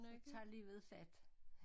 Så tager livet fat